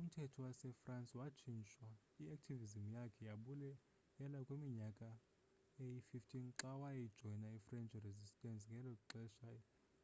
umthetho wasefrance watshintshwa. i-activism yakhe yabuyela kwiminyaka eyi-15 xa wajoyina i-french resistance ngexesha